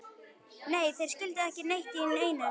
Nei, þeir skildu ekki neitt í neinu.